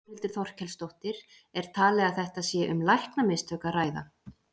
Þórhildur Þorkelsdóttir: Er talið að þetta sé um læknamistök að ræða?